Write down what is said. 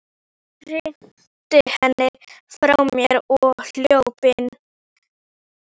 Hrinti henni frá mér og hljóp inn.